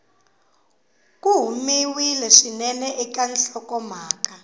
ku humiwile swinene eka nhlokomhaka